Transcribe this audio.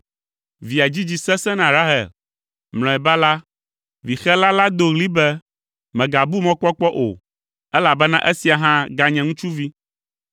Via dzidzi sesẽ na Rahel. Mlɔeba la, vixela la do ɣli be, “Mègabu mɔkpɔkpɔ o, elabena esia hã ganye ŋutsuvi!”